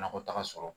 Nakɔ taga sɔrɔ